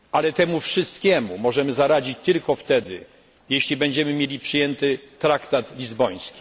Temu wszystkiemu możemy zaradzić tylko wtedy, jeśli będziemy mieli przyjęty traktat lizboński.